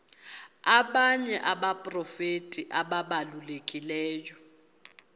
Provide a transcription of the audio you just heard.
abanye abaprofeti ababalulekileyo